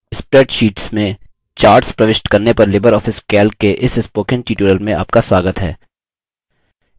spreadsheets में charts प्रविष्ट करने पर लिबर ऑफिस calc के इस spoken tutorial में आपका स्वागत है